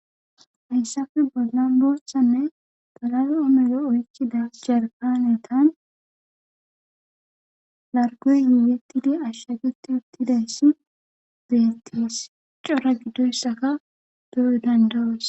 Hayssafe bollan booshsanne talale omelo oykkida jarpanetan largoy yuyetidi ashshageti uttidayssi deettees cora giddoyssaka doyo dandawos.